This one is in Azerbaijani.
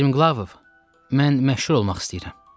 Striglov, mən məşhur olmaq istəyirəm.